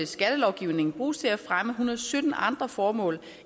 skattelovgivningen bruges til at fremme hundrede sytten andre formål